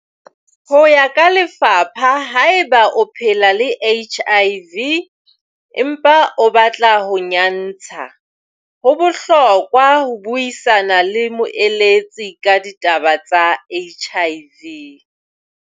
Ho ya ka lefapha, haeba o phela le HIV, empa o batla ho nyantsha, ho bohlokwa ho buisana le moeletsi ka ditaba tsa HIV.